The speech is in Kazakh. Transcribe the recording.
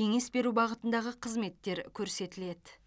кеңес беру бағытындағы қызметтер көрсетіледі